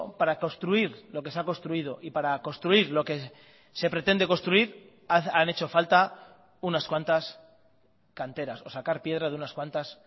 para construir lo que se ha construido y para construir lo que se pretende construir han hecho falta unas cuantas canteras o sacar piedra de unas cuantas